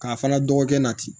K'a fana dɔgɔkɛ na ten